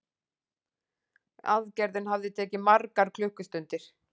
Aðgerðin hafi tekið margar klukkustundir